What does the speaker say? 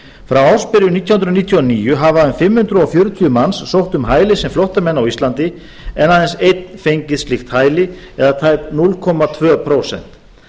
frá ársbyrjun nítján hundruð níutíu og níu hafa fimm hundruð fjörutíu manns sótt um hæli sem flóttamenn á íslandi en aðeins einn fengið slíkt hæli eða tæp núll komma tvö prósent